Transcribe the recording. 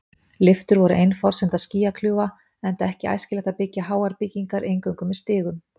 Lyftur voru ein forsenda skýjakljúfa, enda ekki æskilegt að byggja háar byggingar eingöngu með stigum.